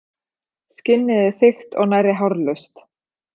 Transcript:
Skinnið er þykkt og nærri hárlaust.